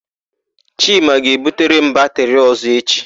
Chima ga-ebutere m batịrị ọ̀zọ́ echi.